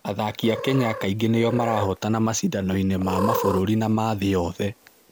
Athaki a Kenya kaingĩ nĩo marahootana macindano-inĩ ma mabũrũri na ma thĩ yothe.